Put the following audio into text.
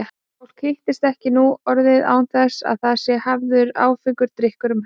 Fólk hittist ekki nú orðið án þess að það sé hafður áfengur drykkur um hönd.